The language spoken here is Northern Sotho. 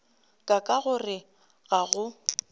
ka ka gore ga go